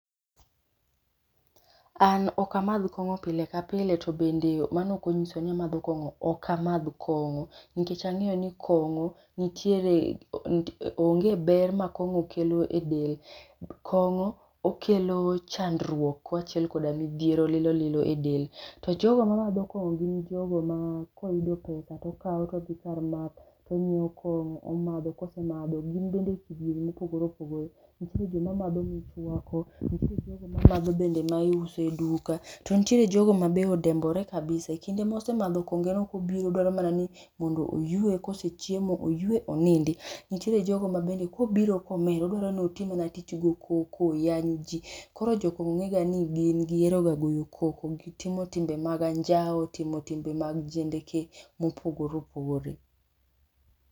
An ok amadh kong'o pile ka pile to be mano ok ong'iso ni amadho kong'o ok amadh kong'o ,nikech ang'eyo ni kongo nitiere onge ber ma kong'o kelo e del. Kong'o okelo chandruok kaachiel koda midhiero lilo lilo e del to jogo ma madho kong'o gin jo go ma ko oyudo pesa to okawo to odhi kar math to ong'iewo kongo to omadho ka osemadho gin bende kidienje ma opogore opogore, nitie jo ma madho michwako, nitie jo go madho mi iuse e duka, to nitiere jo go ma odembore kabisa ekinde ma osemadho konge no ko obiro odwaro mana ni oywe, ko osechiemo oywe ,onindi . Nitie jo go ma ko obiro ko omer odwa mana ni otim mana tich go koko, oyany ji ,koro jo kong'o ong'e ga ni gin gi hero ga goyo koko, gi timo timbe mag anjawo, timo timbe mag jendeke ma opogore opogore.